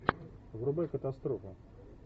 врубай катастрофу